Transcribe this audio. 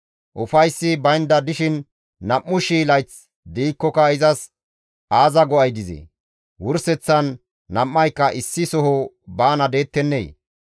Ufayssi baynda dishin nam7u shii layth de7ikkoka izas aaza go7ay dizee? Wurseththan nam7ayka issi soho baana deettennee?